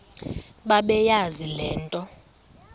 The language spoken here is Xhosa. bebeyazi le nto